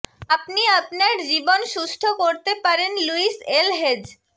আপনি আপনার জীবন সুস্থ করতে পারেন লুইস এল হেজ